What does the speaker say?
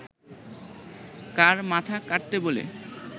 কার মাথা কাটতে বলে